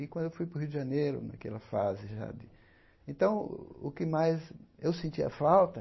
E quando eu fui para o Rio de Janeiro, naquela fase já de, então o que mais eu sentia falta